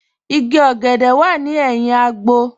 Ìgí ogèdè wà ní èhìn àgbò.